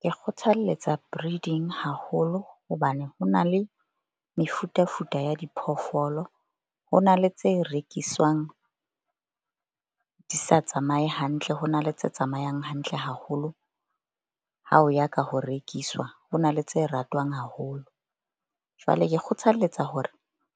Ke kgothaletsa breeding haholo hobane ho na le mefutafuta ya diphoofolo. Ho na le tse rekiswang di sa tsamaye hantle, ho na le tse tsamayang hantle haholo. Ha o ya ka ho rekiswa ho na le tse ratwang haholo. Jwale ke kgothalletsa hore